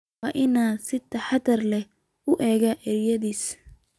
Waa inaan si taxadar leh u eegno erayadaas